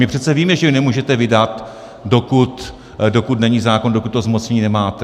My přece víme, že ji nemůžete vydat, dokud není zákon, dokud to zmocnění nemáte.